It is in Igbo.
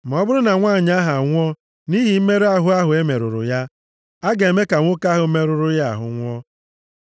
Ma ọ bụrụ na nwanyị ahụ a nwụọ nʼihi mmerụ ahụ ahụ e merụrụ ya, a ga-eme ka nwoke ahụ merụrụ ya ahụ nwụọ.